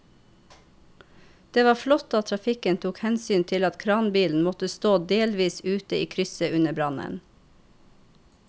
Det var flott at trafikken tok hensyn til at kranbilen måtte stå delvis ute i krysset under brannen.